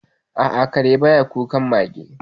A'a, kare ba ya kukan mage.